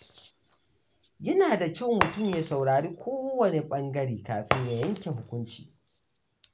Yana da kyau mutum ya saurari kowane ɓangare kafin ya yanke hukunci.